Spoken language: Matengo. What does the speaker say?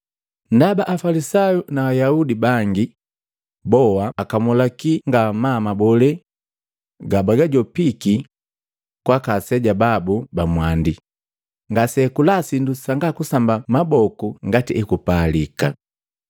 Ndaba Afalisayu na Ayaudi bangi boa akamulaki ngamaa mabole gabajopiki kwaka aseja babu bamwandi, ngase akula sindu sanga kusamba maboku ngati ekupalika.